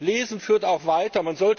Lesen führt auch weiter.